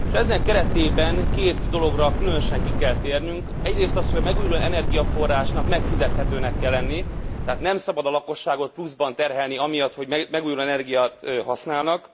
Ennek keretében két dologra különösen ki kell térnünk egyrészt az, hogy a megújuló energiaforrásnak megfizethetőnek kell lenni, tehát nem szabad a lakosságot pluszban terhelni amiatt, hogy megújuló energiát használnak.